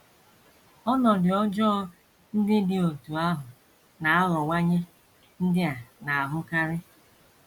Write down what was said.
Ọnọdụ ọjọọ ndị dị otú ahụ na - aghọwanye ndị a na - ahụkarị.